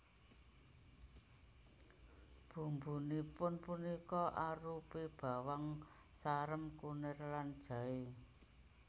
Bumbunipun punika arupi bawang sarem kunir lan jaé